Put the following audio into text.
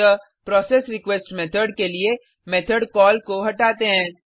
अतः process request method के लिए मेथड कॉल को हटाते हैं